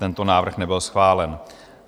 Tento návrh nebyl schválen.